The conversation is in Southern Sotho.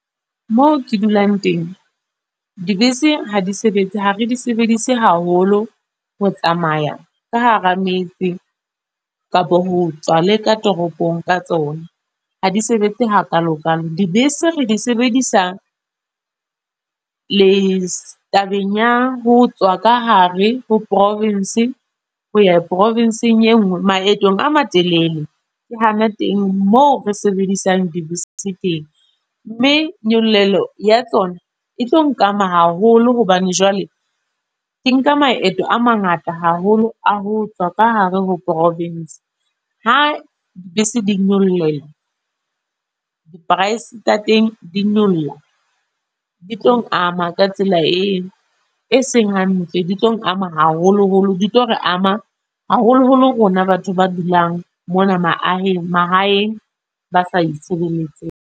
Moo ke dulang teng. Dibese ha di sebetse. Ha re di sebedise haholo ho tsamaya ka hara metse, kapa ho tswa leka toropong ka tsona. Ha di sebetse ha kalo kalo. Dibese re di sebedisa, le tabeng ya ho tswa ka hare ho province, ho ya province-ng e nngwe. Maetong a matelele, ke hana teng moo re sebedisang dibese teng. Mme nyollelo ya tsona, e tlo nkana haholo hobane jwale, ke nka maeto a mangata haholo a ho tswa ka hare ho province. Ha bese di nyolleha, di-price tsa teng di nyolla. Di tlong ama ka tsela eo e seng hantle. Di tlong ama haholo holo. Di tlo re ama, haholo holo rona batho ba dulang mona maaheng, mahaeng ba sa itshireletsa.